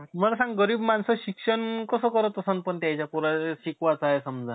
काय होतंल पाहिजे नाई. आपला देश चांगलं राहीलं पाहिजे. म्हणून, ते त्याची कहाणी अशी आहे का, शाहरुख खान देशासाठी मदत करतो. लई छान कहाणी आहे.